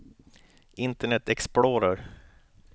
internet explorer